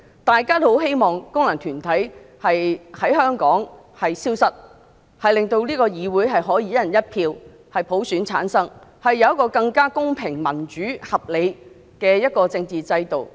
大家也希望功能界別從香港消失，令立法會議員可以由"一人一票"的普選產生，有更公平、民主、合理的政治制度。